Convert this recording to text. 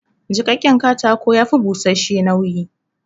Jiƙaƙƙen katako ya fi bushash-she nauyi